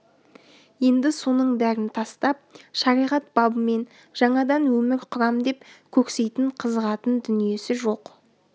енді соның бәрін тастап шариғат бабымен жаңадан өмір құрам деп көксейтін қызығатын дүниесі жоқ